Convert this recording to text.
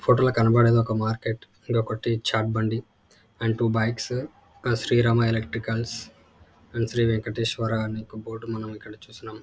Photo లో కనపడేది ఒక మార్కెట్ ఇక్కడ ఒకటి చాట్ బండి అండ్ ట్వు బైక్స్ . ఇక్కడ శ్రీరామ ఎలెక్ట్రికల్స్ అండ్ శ్రీవేంకటెశ్వర అనే బోర్డు ని మనం ఇక్కడ చూస్తున్నాం.